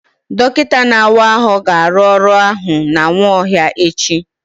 Dọkịta na-awa ahụ ga-arụ ọrụ ahụ na Nwaohia echi.